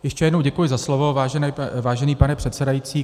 Ještě jednou děkuji za slovo, vážený pane předsedající.